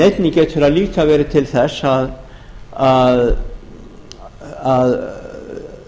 einnig getur það líka verið til þess að